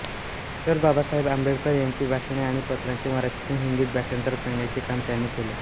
डॉ बाबासाहेब आंबेडकर यांची भाषणे आणि पत्रांचे मराठीतून हिंदीत भाषांतर करण्याचे काम त्यांनी केले